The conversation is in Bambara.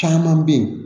Caman bɛ yen